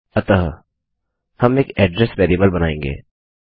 अतः हम एक एड्रेस वेरिएबल बनाएँगे